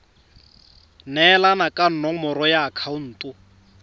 neelana ka nomoro ya akhaonto